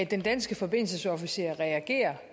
den danske forbindelsesofficer reagerer